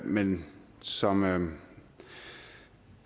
men som